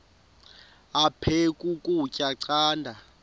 aphek ukutya canda